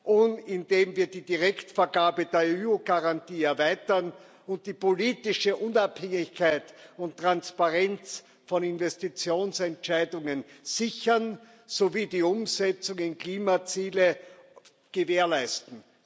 und, indem wir die Direktvergabe der EU Garantie erweitern, die politische Unabhängigkeit und Transparenz von Investitionsentscheidungen sichern sowie die Umsetzung der Klimaziele gewährleisten.